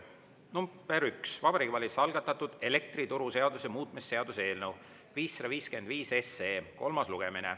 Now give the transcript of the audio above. nr 1: Vabariigi Valitsuse algatatud elektrituruseaduse muutmise seaduse eelnõu 555 kolmas lugemine.